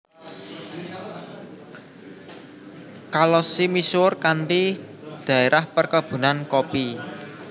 Kalosi misuwur kanthi daerah perkebunan kopi